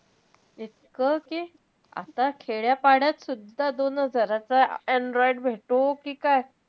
इतकं कि आता खेड्या-पाड्यातसुद्धा दोन हजाराचा android भेटो कि काय.